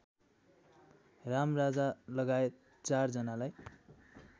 रामराजालगायत ४ जनालाई